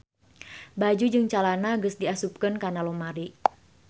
Baju jeung calana geus diasupkeun kana lomari